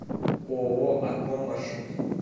ооо акком маршрут